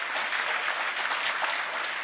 Señor presidente Tajani,